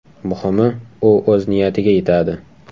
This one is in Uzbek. Muhimi, u o‘z niyatiga yetadi.